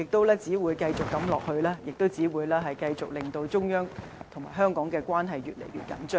長此下去，只會繼續令中央與香港關係越來越緊張。